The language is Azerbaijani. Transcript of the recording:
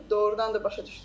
Bunu doğrudan da başa düşdü.